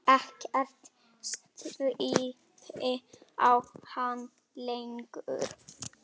Ekkert stríddi á hann lengur.